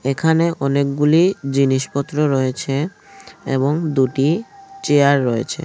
এখানে অনেকগুলি জিনিসপত্র রয়েছে এবং দুটি চেয়ার রয়েছে।